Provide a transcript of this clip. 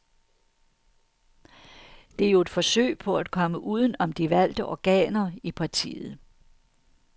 Det er jo et forsøg på at komme uden om de valgte organer i partiet.